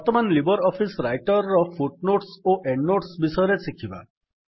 ବର୍ତ୍ତମାନ Libre Office Writer ର footnotes ଓ ଏଣ୍ଡ୍ ନୋଟ୍ସ ବିଷୟରେ ଶିଖିବା